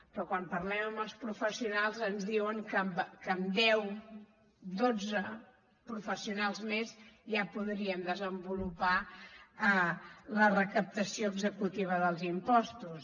però quan parlem amb els professionals ens diuen que amb deu dotze professionals més ja podríem desenvolupar la recaptació executiva dels impostos